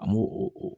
An bo o